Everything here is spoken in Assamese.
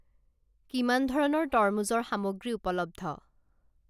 কিমান ধৰণৰ তৰমুজৰ সামগ্ৰী উপলব্ধ?